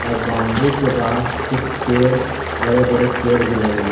और बौंडरी के बाहर कुछ पेड़ बड़े-बड़े पेड़ भी लगे हुए --